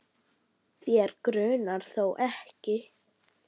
Þig grunar þó ekki?.